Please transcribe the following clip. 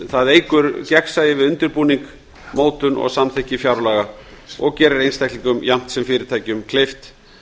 það eykur gegnsæi við undirbúning mótun og samþykki fjárlaga og gerir einstaklingum jafnt sem fyrirtækjum kleift